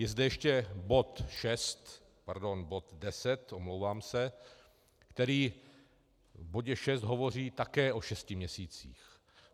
Je zde ještě bod 6, pardon, bod 10, omlouvám se, který v bodě 6 hovoří také o šesti měsících.